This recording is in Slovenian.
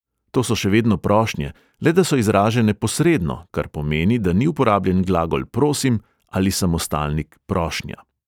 To so še vedno prošnje, le da so izražene posredno, kar pomeni, da ni uporabljen glagol prosim ali samostalnik prošnja.